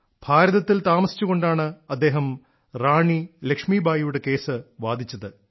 ഭാരതത്തിൽ താമസിച്ചു കൊണ്ടാണ് അദ്ദേഹം റാണി ലക്ഷ്മി ബായിയുടെ കേസ് വാദിച്ചത്